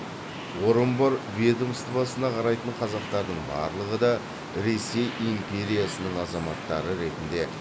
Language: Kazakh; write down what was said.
орынбор ведомствосына қарайтын қазақтардың барлығы да ресей империясының азаматтары ретінде